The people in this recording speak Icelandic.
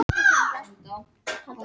Ágæt byrjun á gæsaveiði